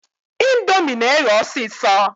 Indomie na-eghe ọsịsọ.